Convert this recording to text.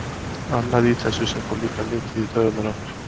Annað í þessu sem fór líka mikið í taugarnar á mér.